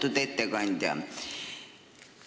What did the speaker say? Austatud ettekandja!